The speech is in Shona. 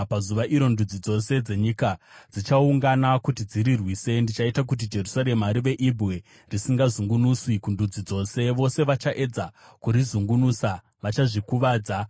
Pazuva iro, ndudzi dzose dzenyika padzichaungana kuti dzirirwise, ndichaita kuti Jerusarema rive ibwe risingazungunuswi kundudzi dzose. Vose vachaedza kurizungunusa vachazvikuvadza.